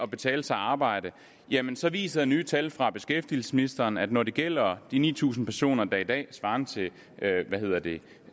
betale sig at arbejde jamen så viser nye tal fra beskæftigelsesministeren at når det gælder de ni tusind personer der er i dag svarende til